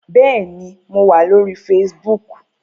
Bẹ́ẹ̀ni, mo wà lórí Facebook